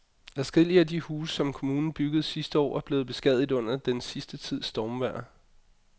Adskillige af de huse, som kommunen byggede sidste år, er blevet beskadiget under den sidste tids stormvejr.